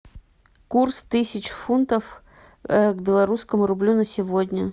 курс тысяч фунтов к белорусскому рублю на сегодня